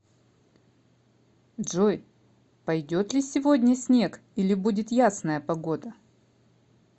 джой пойдет ли сегодня снег или будет ясная погода